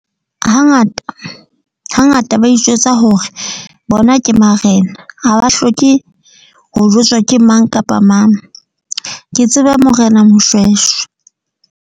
Ha ngata, ha ngata ba itjwetsa hore bona ke Marena. Ha ba hloke ho jwetswa ke mang kapa mang. Ke tseba Morena Moshweshwe.